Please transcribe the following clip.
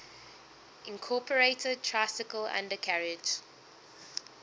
incorporated tricycle undercarriage